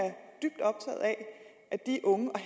at de unge og